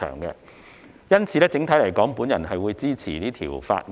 因此，整體而言，我會支持《條例草案》。